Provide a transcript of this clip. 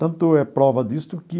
Tanto é prova disto que